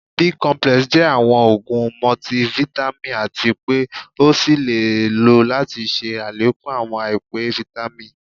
Bi complex jẹ awọn òógun multivitamin atí pé ọ ṣéé lo láti ṣe àlékún awọn àìpé Vitamin